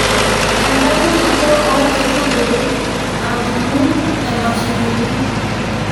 edamunoto oonkaitubulu: ajungu emashinini